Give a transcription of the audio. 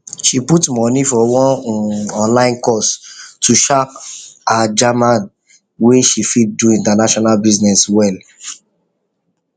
she put money for one um online course to sharp her german make she fit do international business well